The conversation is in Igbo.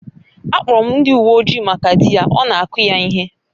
A kpọrọ m ndị uwe ojii maka di ya, ọ na-akụ ya ihe